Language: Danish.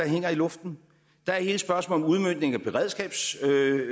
hænger i luften der er hele spørgsmålet om udmøntningen